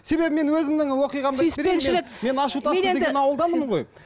себебі мен өзімнің оқиғамды сүйіспеншілік мен ашутас деген ауылданмын ғой